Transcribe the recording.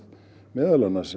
meðal annars